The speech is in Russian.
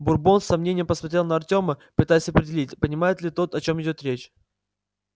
бурбон с сомнением посмотрел на артема пытаясь определить понимает ли тот о чем идёт речь